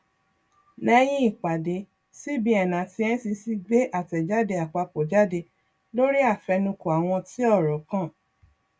lẹyìn ìpàdé cbn àti ncc gbé àtẹjáde àpapọ jáde lórí àfẹnukò àwọn tí ọrọ kàn